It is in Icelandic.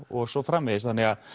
og svo framvegis þannig